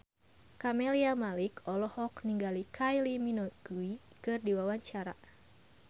Camelia Malik olohok ningali Kylie Minogue keur diwawancara